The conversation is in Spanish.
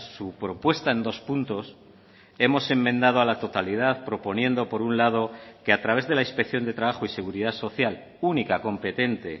su propuesta en dos puntos hemos enmendado a la totalidad proponiendo por un lado que a través de la inspección de trabajo y seguridad social única competente